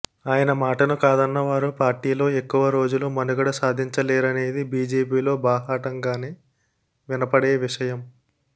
ఆయన మాటను కాదన్న వారు పార్టీలో ఎక్కువ రోజులు మనుగడ సాధించలేరనేది బీజేపీలో బాహాటంగానే వినపడే విషయం